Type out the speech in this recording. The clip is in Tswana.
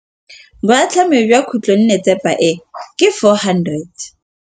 Boatlhamô jwa khutlonnetsepa e, ke 400.